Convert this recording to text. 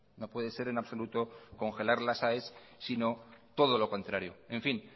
no puede ser en absoluto congelar las aes sino todo lo contrario en fin